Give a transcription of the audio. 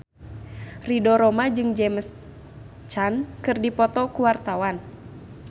Ridho Roma jeung James Caan keur dipoto ku wartawan